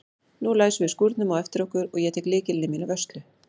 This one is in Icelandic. Nú læsum við skúrnum á eftir okkur og ég tek lykilinn í mína vörslu.